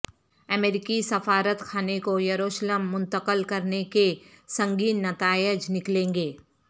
امریکی سفارت خانے کو یروشلم منتقل کرنے کے سنگین نتائج نکلیں گے